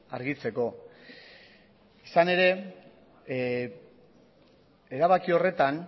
argitzeko izan ere erabaki horretan